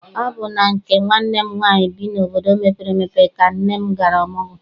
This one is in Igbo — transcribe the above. Ọ bụ na nke nwanne m nwaanyị bi n'obodo mepere emepe ka nne m gara ọmụgwọ.